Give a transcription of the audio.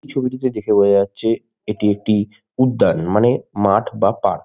ছবিটিতে দেখে বোঝা যাচ্ছে এটি একটি উদ্যান মানে মাঠ বা পার্ক ।